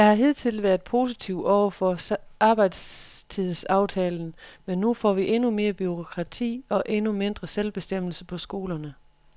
Jeg har hidtil været positiv over for arbejdstidsaftalen, men nu får vi endnu mere bureaukrati og endnu mindre selvbestemmelse på skolerne.